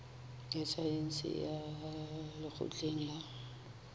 ya saense ya lekgotleng la